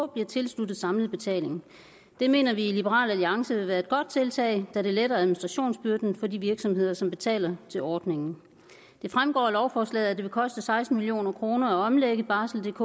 bliver tilsluttet samlet betaling det mener vi i liberal alliance vil være et godt tiltag da det letter administrationsbyrden for de virksomheder som betaler til ordningen det fremgår af lovforslaget at det vil koste seksten million kroner at omlægge barseldk